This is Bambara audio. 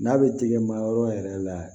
N'a bɛ tigɛ ma yɔrɔ yɛrɛ la